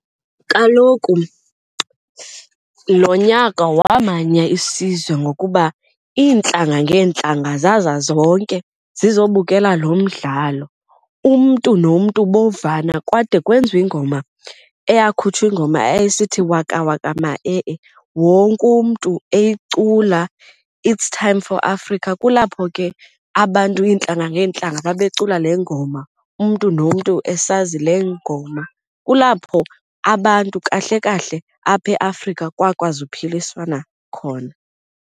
Kaloku lo nyaka wamanya isizwe ngokuba iintlanga ngeentlanga zaza zonke zizobukela lo mdlalo, umntu nomntu bovana kwade kwenziwe iingoma iyakhutshwa iingoma ayayisithi, waka waka ma-e-e, wonke umntu eyicula, it's time for Afrika. Kulapho ke abantu iintlanga ngeentlanga babecula le ngoma umntu nomntu esazi le ngoma, kulapho abantu kahle kahle apha eAfrika kwakwazi uphiliswana khona.